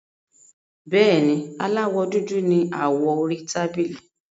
Bẹ́ẹ̀ni, Aláwọ́ dúdú ni awọ orí tábìlì.